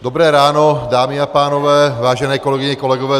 Dobré ráno dámy a pánové, vážené kolegyně, kolegové.